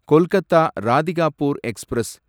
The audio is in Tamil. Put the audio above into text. கொல்கத்தா ராதிகாபூர் எக்ஸ்பிரஸ்